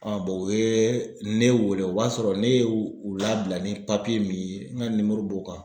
o ye ne wele o b'a sɔrɔ ne ye u labila ni min ye n ka b'o kan.